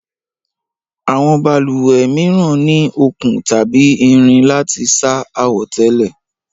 Àwọn balùwẹ̀ mìíràn ní okùn tàbí irin láti sá àwọ̀tẹ́lẹ̀